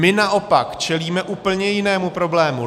My naopak čelíme úplně jinému problému.